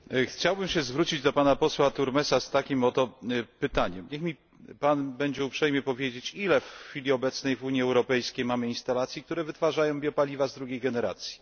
Chciałbym się zwrócić do posła Turmesa z takim oto pytaniem niech mi Pan będzie uprzejmy powiedzieć, ile w chwili obecnej w Unii Europejskiej mamy instalacji, które wytwarzają biopaliwa drugiej generacji?